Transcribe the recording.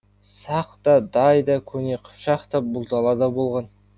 сақ та дай да көне қыпшақ та бұл далада болған